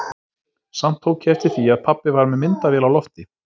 Samt tók ég eftir því að pabbi var með myndavél á lofti.